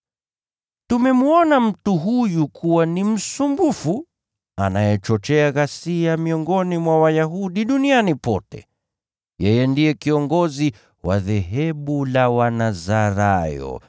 “Tumemwona mtu huyu kuwa ni msumbufu, anayechochea ghasia miongoni mwa Wayahudi duniani pote. Yeye ndiye kiongozi wa dhehebu la Wanazarayo,